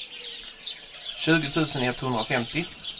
tjugo tusen etthundrafemtio